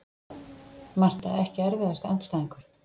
Marta Ekki erfiðasti andstæðingur?